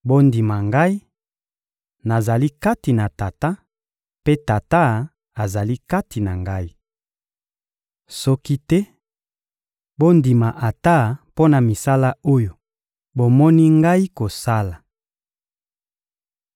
Bondima Ngai: nazali kati na Tata, mpe Tata azali kati na Ngai. Soki te, bondima ata mpo na misala oyo bomoni Ngai kosala.